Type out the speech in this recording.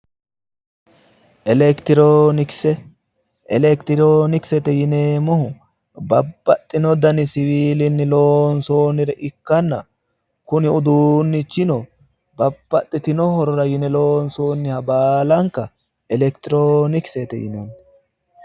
elekitiroonikise elekitiroonikise yineemmohu babbaxitino dani siwiilinni loonsoonnire ikkitanna kuni uduunnichino babbaxitino horora yine loonsoonniha baalanka elekitiroonikise yinanni.